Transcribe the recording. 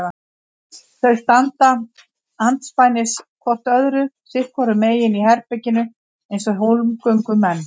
Þau standa andspænis hvort öðru sitt hvoru megin í herberginu eins og hólmgöngumenn.